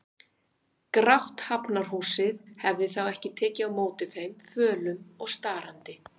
Grátt Hafnarhúsið hefði þá ekki tekið á móti þeim, fölum og starandi.